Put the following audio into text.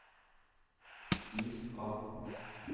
is av